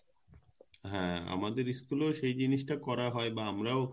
হ্যাঁ আমাদের school এও সে জিনিস টা করতে হয়